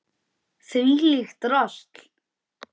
Þvílíkt drasl!